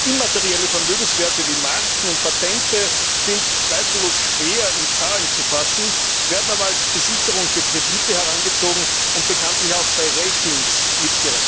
Immaterielle Vermögenswerte wie Marken und Patente sind zweifellos schwer in Zahlen zu fassen, werden aber als Besicherung für Kredite herangezogen und bekanntlich auch bei Ratings berücksichtigt.